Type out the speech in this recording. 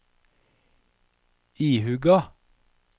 ihuga